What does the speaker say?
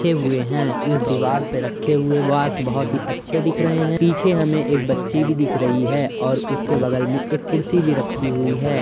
रखे हुए हैं। एक दीवार पर रखे हुए वास बहुत ही अच्छे दिख रहे हैं। पीछे हमें एक बच्ची भी दिख रही है और उसके बगल में एक कुर्सी भी रखी हुई है।